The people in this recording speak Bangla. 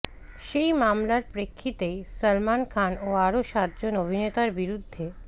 সেই মামলার প্রেক্ষিতেই সলমন খান ও আরও সাতজন অভিনেতার বিরুদ্ধে